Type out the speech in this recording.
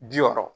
Bi wɔɔrɔ